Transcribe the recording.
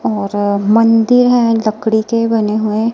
और मंदिर है लकड़ी के बने हुए--